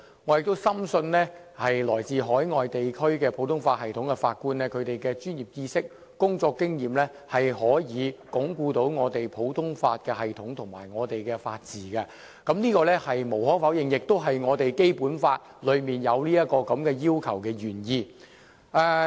我亦深信來自海外地區普通法系統的法官憑其專業知識和工作經驗可以鞏固我們的普通法系統及法治，這是無可否認的，亦是《基本法》中訂明這項要求的原意。